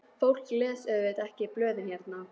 Fólk les auðvitað ekki blöðin hérna.